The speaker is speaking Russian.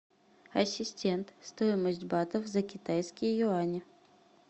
ассистент стоимость батов за китайские юани